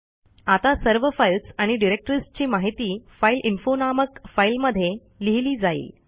आता सर्व फाईल्स आणि डिरेक्टरीजची माहिती फाइलइन्फो नामक फाईलमध्ये लिहिली जाईल